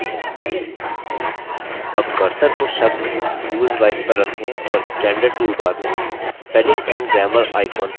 अब cursor को शब्द husewife पर रखें और standard tool bar में spelling and grammar icon पर click करें